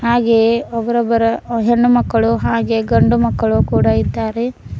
ಹಾಗೆಯೇ ಒಬ್ರ ಒಬ್ರರ ಹೆಣ್ಣುಮಕ್ಕಳು ಹಾಗೆಯೇ ಗಂಡುಮಕ್ಕಳು ಕೂಡ ಇದ್ದಾರೆ.